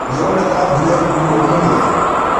Nĩũrona ta mbũra ĩkũra ũmũthĩ?